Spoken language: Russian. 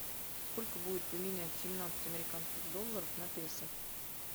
сколько будет поменять семнадцать американских долларов на песо